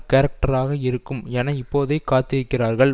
கேரக்டராக இருக்கும் என இப்போதே காத்திருக்கிறார்கள்